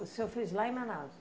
O senhor fez lá em Manaus?